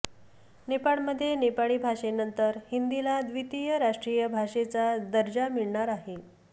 नेपाळमध्ये नेपाळी भाषेनंतर हिंदीला द्वितीय राष्ट्रीय भाषेचा दर्जा मिळणार आहे